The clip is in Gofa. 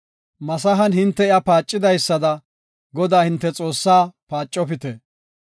Masahan hinte iya paacidaysada Godaa hinte Xoossaa paacopite.